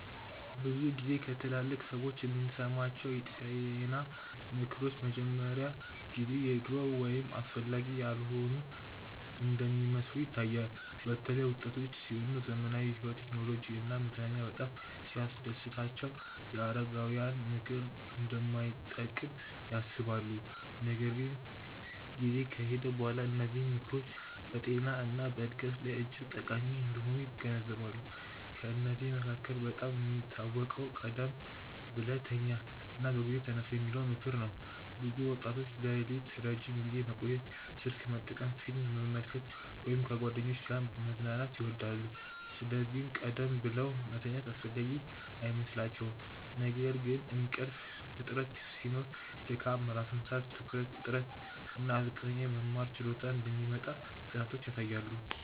ብዙ ጊዜ ከትላልቅ ሰዎች የምንሰማቸው የጤና ምክሮች በመጀመሪያ ጊዜ የድሮ ወይም አስፈላጊ ያልሆኑ እንደሚመስሉ ይታያል። በተለይ ወጣቶች ሲሆኑ ዘመናዊ ሕይወት፣ ቴክኖሎጂ እና መዝናኛ በጣም ሲያስደስታቸው የአረጋውያን ምክር እንደማይጠቅም ያስባሉ። ነገር ግን ጊዜ ከሄደ በኋላ እነዚህ ምክሮች በጤና እና በዕድገት ላይ እጅግ ጠቃሚ እንደሆኑ ይገነዘባሉ። ከእነዚህ መካከል በጣም የሚታወቀው “ቀደም ብለህ ተኛ እና በጊዜ ተነሳ” የሚለው ምክር ነው። ብዙ ወጣቶች ሌሊት ረዥም ጊዜ መቆየት፣ ስልክ መጠቀም፣ ፊልም መመልከት ወይም ከጓደኞች ጋር መዝናናት ይወዳሉ፤ ስለዚህ ቀደም ብለው መተኛት አስፈላጊ አይመስላቸውም። ነገር ግን እንቅልፍ እጥረት ሲኖር ድካም፣ ራስ ምታት፣ ትኩረት እጥረት እና ዝቅተኛ የመማር ችሎታ እንደሚመጣ ጥናቶች ያሳያሉ